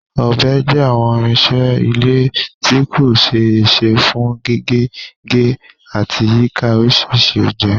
Ọbẹ̀ jẹ́ àwọn irinṣẹ́ ilé ìdáná tí kò ṣe é ṣe fún gígé, gé, àti yíka oríṣiríṣi oúnjẹ.